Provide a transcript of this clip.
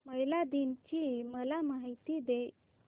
महिला दिन ची मला माहिती दे